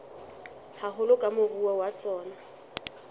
haholo ke moruo wa tsona